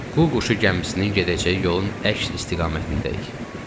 Qu quşu gəmisinin gedəcəyi yolun əks istiqamətindəyik.